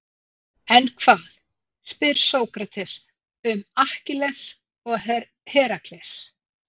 En hvað, spyr Sókrates, um Akkilles og Herakles?